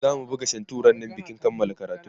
zamu buga shantu rannan bikin kanmala karatunmu